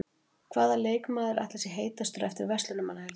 Hvaða leikmaður ætli sé heitastur eftir Verslunarmannahelgina?